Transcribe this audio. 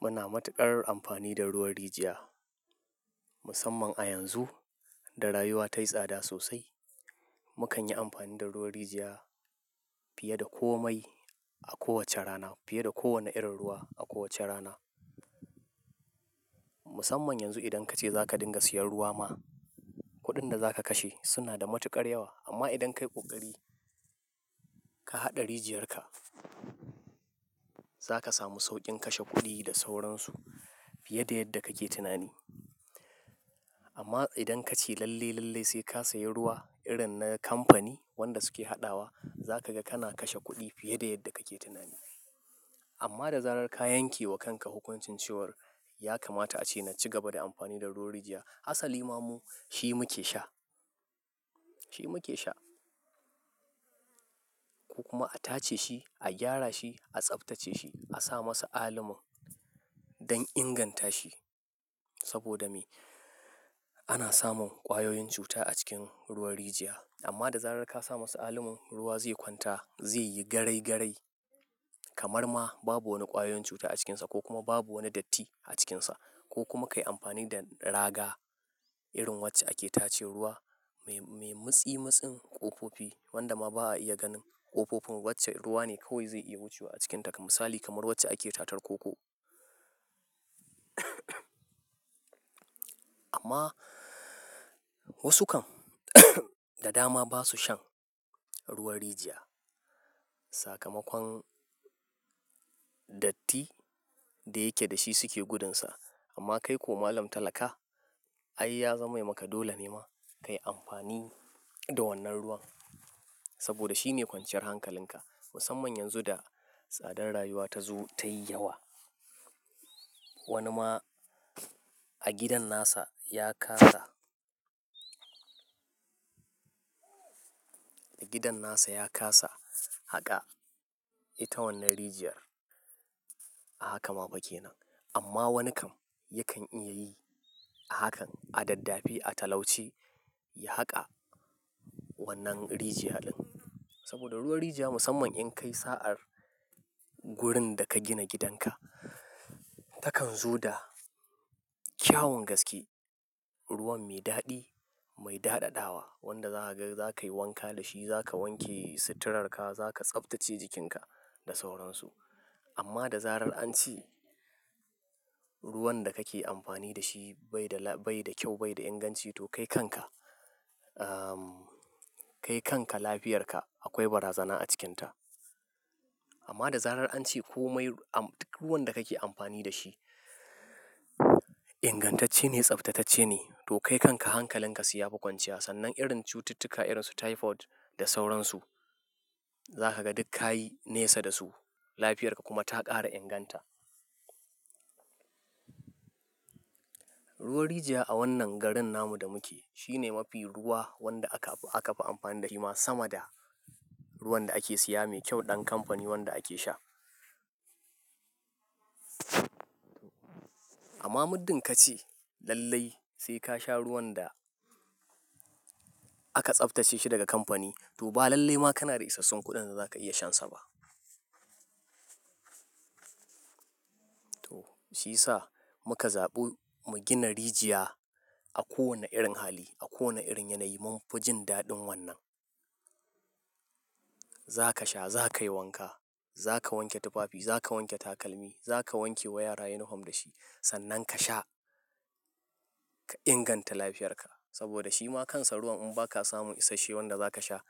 Muna matuƙar amfani da ruwan rijiya musamman a yanzu da rayuwa tayi tsada sosai. Mukan yi amfani da ruwan rijiya fiye da komai a kowacce rana fiye da kowane irin ruwa a kowacce rana. Musamman yanzu idan kace zaka dinga siyan ruwa ma, kuɗin da zaka kashe suna da matuƙar yawa. Amma idan kayi ƙoƙari ka haɗa rijiyar ka, zaka samu sauƙin kashe kuɗi da sauransu fiye da yadda kake tunani. Amma idan kace lalle lalle sai ka sayi ruwa irin na kamfani wanda suke haɗawa, za kaga kana kashe kuɗi fiye da yadda kake tunani. Amma da zarar ka yanke wa kanka hukuncin cewar ya kamata a ce na cigaba da amfani da ruwan rijiya, asalima mu shi muke sha, shi muke sha. Ku kuma a tace shi, a gyara shi, a tsaftace shi, a sa masa alomon don inganta shi. Saboda me? Ana samun ƙwayoyin cuta a cikin ruwan rijiya. Amma da zarar ka sa masa alomon, ruwa zai kwanta, zai yi garai garai kamar ma babu wani ƙwayoyin cuta a cikinsa ko kuma babu wani datti a cikinsa. Amma idan kace lalle lalle sai ka sayi ruwa irin na kamfani wanda suke haɗawa, za kaga kana kashe kuɗi fiye da yadda kake tunani. Amma da zarar ka yanke wa kanka hukuncin cewar ya kamata a ce na cigaba da amfani da ruwan rijiya, asalima mu shi muke sha, Kamusali kamar wacce ake tatar koko. Amma wasu kan da dama ba su shan ruwan rijiya. Sakamakon datti da yake da shi suke gudunsa. Amma kai ko malam talaka, ai ya zame maka dole ne ma kayi amfani da wannan ruwan saboda shine kwanciyar hankalinka. Musamman yanzu da tsadar rayuwa ta zo tayi yawa. Wani ma a gidan nasa ya ƙasa, a gidan nasa ya ƙasa haƙa ita wannan rijiyar. Haka ma bake nan. Amma wani kan yakan iya yi hakan a daddafi, a talauci ya haƙa wannan rijiya ɗin. Saboda ruwan rijiya musamman in kayi sa'ar wurin da ka gina gidan ka, takan zo da kyaun gaske. Ruwan mai daɗi, mai daɗaɗawa wanda za ka ga za kayi wanka da shi, za ka wanke suturarka, za ka tsaftace jikinka da sauransu. Amma da zarar an ci ruwan da kake amfani da shi bai da la-- bai da kyau bai da inganci to kai kanka, ehm, kai kanka lafiyarka akwai bazara a cikinta. Amma da zarar an ce komai am-- duk ruwan da kake amfani da shi ingantacce ne, tsaftatacce ne to kai kanka hankalinka su ya fi kwanciya. Sannan irin cututtuka irin su typhoid da sauransu za kaga duk ka yi nesa da su. Lafiyarka kuma ta ƙara inganta. Ruwan rijiya a wannan garin namu da muke shine mafi ruwa wanda aka fi amfani da shi ma sama da ruwan da ake siya mai kyau ɗan kamfani wanda ake sha. Amma muddin kace lalle sai ka sha ruwan da aka tsaftace shi daga kamfani to ba lalle ma kana da isassun kuɗin da za ka iya shansa ba. To shi yasa muka zaɓi mu gina rijiya a kowane irin hali, a kowane irin yanayi mun fi jin daɗin wannan. Za ka sha, za ka yi wanka, za ka wanke tufafi, za ka wanke takalmi, za ka wanke wa yara yin hamda shi. Sannan ka sha ka inganta lafiyarka saboda shi ma kansa ruwan in ba ka samu isashe wanda za ka sha,